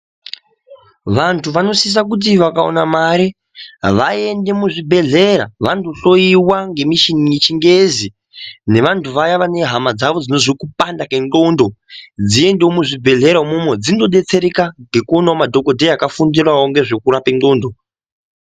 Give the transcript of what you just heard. Vantu vanosisa kuti vakaona mare vaende muzvibhedhlera vandohloiwa ngemichini yechingezi nevantu vaya vane hama dzavo dzinozwe kupanda kwendxondo dziendewo muzvibhedhlera umwomwo dzinodetsereka ngekuonawo madhogodheya akafundirawo ngezvekurape ndxondo .